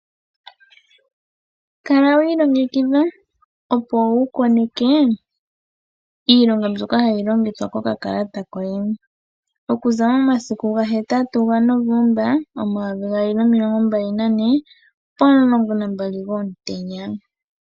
Kala wi ilongekidha opo wukoneke iilonga mbyoka hayi longithwa kokakalata koye. Okuza momasiku gahetatu gaNovemba omayovi gaali nomilongo mbali nane pomulongo nambali gomutenya.